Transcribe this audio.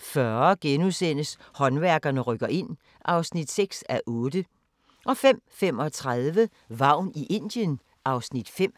04:40: Håndværkerne rykker ind (6:8)* 05:35: Vagn i Indien (Afs. 5)